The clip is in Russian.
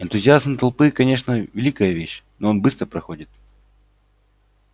энтузиазм толпы конечно великая вещь но он быстро проходит